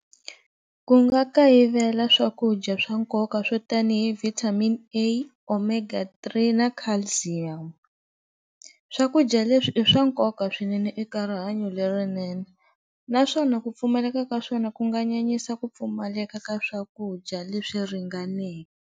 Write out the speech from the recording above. Ku nga kayivela swakudya swa nkoka swo tanihi vitamin-e, omega three na calcium, swakudya leswi i swa nkoka swinene eka rihanyo lerinene naswona ku pfumaleka ka swona ku nga nyanyisa ku pfumaleka ka swakudya leswi .